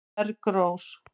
Bergrós